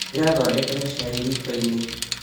Ndĩrathondekera cai riko-inĩ